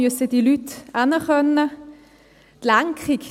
Diese Leute müssen irgendwo hingehen können.